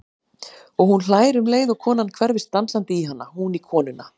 Og hún hlær um leið og konan hverfist dansandi í hana, hún í konuna.